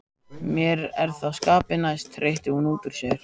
Mér er það skapi næst, hreytti hún útúr sér.